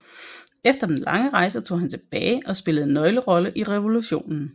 Efter den lange rejse tog han tilbage og spillede en nøglerolle i revolutionen